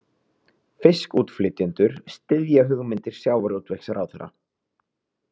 Fiskútflytjendur styðja hugmyndir sjávarútvegsráðherra